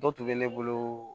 Dɔ tun bɛ ne bolo